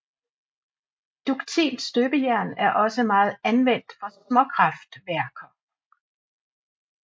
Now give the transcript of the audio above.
Duktilt støbejern er også meget anvendt for småkraftværker